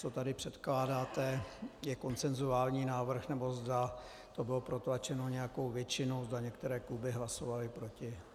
Co tady předkládáte, je konsensuální návrh, nebo zda to bylo protlačeno nějakou většinou, zda některé kluby hlasovaly proti.